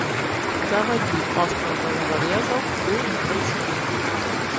заводи остров головорезов фулл эйч ди